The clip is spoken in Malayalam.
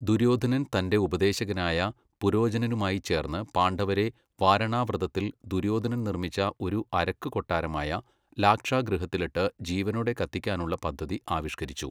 ദുര്യോധനൻ തൻ്റെ ഉപദേശകനായ പുരോചനനുമായി ചേർന്ന് പാണ്ഡവരെ വാരണാവ്രതത്തിൽ ദുര്യോധനൻ നിർമ്മിച്ച ഒരു അരക്കുകൊട്ടാരമായ ലാക്ഷാഗൃഹത്തിലിട്ട് ജീവനോടെ കത്തിക്കാനുള്ള പദ്ധതി ആവിഷ്കരിച്ചു.